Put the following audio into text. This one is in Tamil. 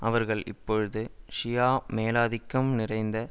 அவர்கள் இப்பொழுது ஷியா மேலாதிக்கம் நிறைந்த